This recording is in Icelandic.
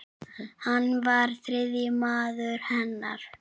Hann var þriðji maður hennar.